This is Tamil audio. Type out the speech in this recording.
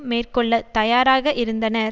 மேற்கொள்ள தயாராக இருந்தனர்